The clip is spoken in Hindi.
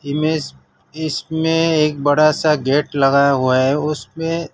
इमेज इसमें एक बड़ा सा गेट लगाया हुआ है उसपे--